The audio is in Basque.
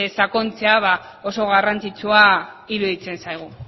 sakontzea oso garrantzitsua iruditzen zaigu